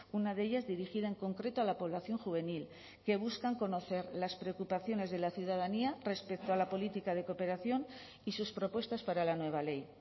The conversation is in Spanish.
una de ellas dirigida en concreto a la población juvenil que buscan conocer las preocupaciones de la ciudadanía respecto a la política de cooperación y sus propuestas para la nueva ley